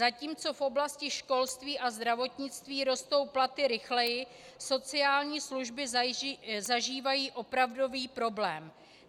Zatímco v oblasti školství a zdravotnictví rostou platy rychleji, sociální služby zažívají opravdový problém.